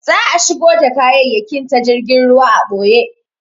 Za'a shigo da kayayyakin ta jirgin ruwa a ɓoye.